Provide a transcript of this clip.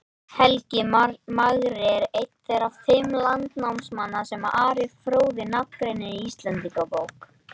Helgi magri er einn þeirra fimm landnámsmanna sem Ari fróði nafngreinir í Íslendingabók.